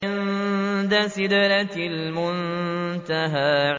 عِندَ سِدْرَةِ الْمُنتَهَىٰ